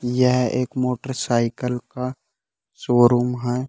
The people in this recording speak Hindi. यह एक मोटरसाइकल का शोरूम है।